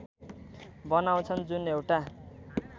बनाउँछन् जुन एउटा